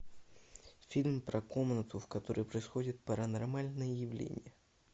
фильм про комнату в которой происходят паранормальные явления